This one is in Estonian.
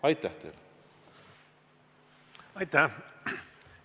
Aitäh!